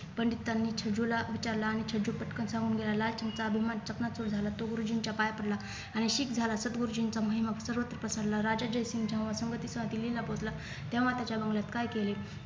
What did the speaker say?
पंडितांनी छेजूला विचारलं आणि छेजू पटकन सांगून लाल सिंग चा अभिमान चकणाचूर झाला तो गुरुजींचा पाय पडला आणि शीख झाला सदगुरुजींचा महिमा सर्वत्र पसरला राजा जयसिंग दिल्लीला पोहोचला तेव्हा त्याच्या बंगल्यात काय केले